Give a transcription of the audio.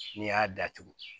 N'i y'a datugu